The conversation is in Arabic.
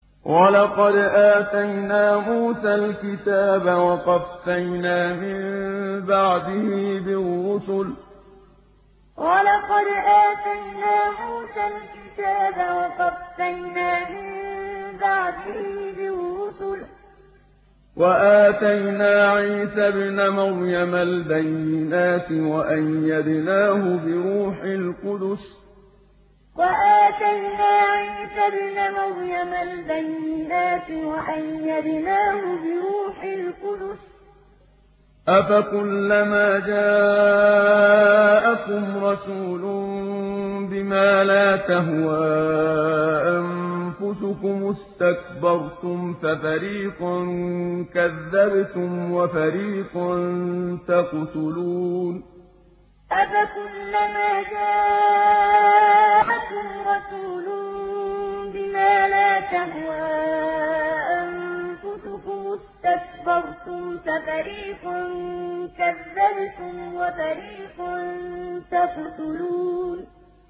وَلَقَدْ آتَيْنَا مُوسَى الْكِتَابَ وَقَفَّيْنَا مِن بَعْدِهِ بِالرُّسُلِ ۖ وَآتَيْنَا عِيسَى ابْنَ مَرْيَمَ الْبَيِّنَاتِ وَأَيَّدْنَاهُ بِرُوحِ الْقُدُسِ ۗ أَفَكُلَّمَا جَاءَكُمْ رَسُولٌ بِمَا لَا تَهْوَىٰ أَنفُسُكُمُ اسْتَكْبَرْتُمْ فَفَرِيقًا كَذَّبْتُمْ وَفَرِيقًا تَقْتُلُونَ وَلَقَدْ آتَيْنَا مُوسَى الْكِتَابَ وَقَفَّيْنَا مِن بَعْدِهِ بِالرُّسُلِ ۖ وَآتَيْنَا عِيسَى ابْنَ مَرْيَمَ الْبَيِّنَاتِ وَأَيَّدْنَاهُ بِرُوحِ الْقُدُسِ ۗ أَفَكُلَّمَا جَاءَكُمْ رَسُولٌ بِمَا لَا تَهْوَىٰ أَنفُسُكُمُ اسْتَكْبَرْتُمْ فَفَرِيقًا كَذَّبْتُمْ وَفَرِيقًا تَقْتُلُونَ